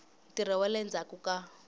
ntirho wa le ndzhaku ka